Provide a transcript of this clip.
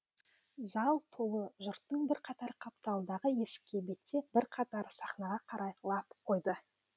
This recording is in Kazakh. зал толы жұрттың бірқатары қапталдағы есікке беттеп бірқатары сахнаға қарай лап қойды